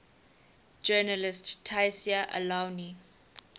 journalist tayseer allouni